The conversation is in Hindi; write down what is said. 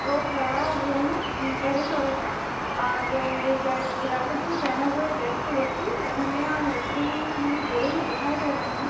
टोप लगा हुए है येल्लो कलर का और जा जाकेट भी पहने हुए रेड कलर कीऔर हमे यहा लकड़ी हुई खड़ी हुई दिखाई दे रही है।